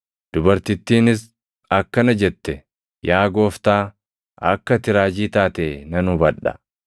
Dubartittiinis akkana jette; “Yaa Gooftaa, akka ati raajii taate nan hubadha.